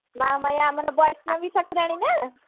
ବୈଷ୍ଣବ ଠାକୁରାଣୀ ନୁହେଁ